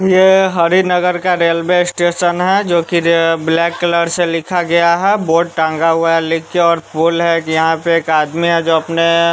यह हरिनगर का railway station है जो कि ब्लैक कलर से लिखा गया है बोर्ड टांगा हुआ है लिख के और खोल है कि यहां पे एक आदमी है जो अपने--